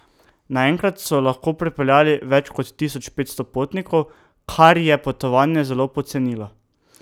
Naenkrat so lahko prepeljali več kot tisoč petsto potnikov, kar je potovanja zelo pocenilo.